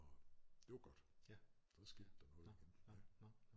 Og det var godt så skete der noget igen